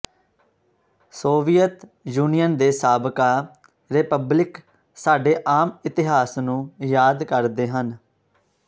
Soviet Union ਦੇ ਸਾਬਕਾ republic ਸਾਡੇ ਆਮ ਇਤਿਹਾਸ ਨੂੰ ਯਾਦ ਕਰਦੇ ਹਨ